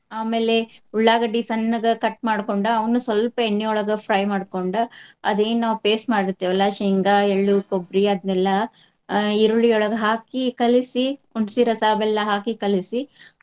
ಆಮೇಲೆ ಉಳ್ಳಾಗಡ್ಡಿ ಸಣ್ಣಗ cut ಮಾಡ್ಕೊಂಡ ಅವ್ನು ಸ್ವಲ್ಪ ಎಣ್ಣಿಯೊಳಗ fry ಮಾಡ್ಕೊಂಡ ಅದೇನ್ ನಾವ್ paste ಮಾಡಿರ್ತೆವಲ್ಲ ಶೇಂಗಾ, ಎಳ್ಳು, ಕೊಬ್ರಿ ಅದ್ನೇಲ್ಲಾ ಆ ಈರುಳ್ಳಿಯೊಳಗ ಹಾಕಿ ಕಲಿಸಿ ಹುಣಸಿರಸಾ, ಬೆಲ್ಲಾ ಹಾಕಿ ಕಲಿಸಿ.